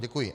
Děkuji.